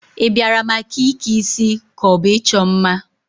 Ị bịara maka ike isi ka ọ bụ ịchọ mma?